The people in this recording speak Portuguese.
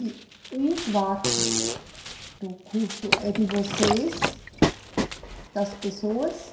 E um quarto do custo é de vocês, das pessoas.